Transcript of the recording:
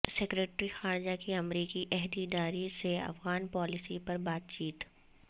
secretary خارجہ کی امریکی عہدیدار سے افغان پالیسی پر بات چیت